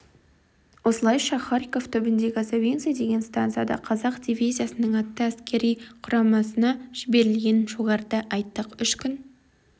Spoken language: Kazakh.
осылайша харьков түбіндегі савинцы деген стансада қазақ дивизиясының атты әскер құрамына жіберілгенін жоғарыда айттық үш күн